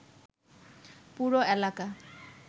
পুরো এলাকা